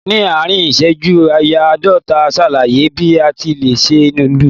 Ní àárín ìṣẹ́jú ááyá àádọ́ta, ṣàlàyé bí a ti lè se núdù?